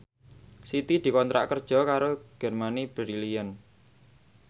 Siti dikontrak kerja karo Germany Brilliant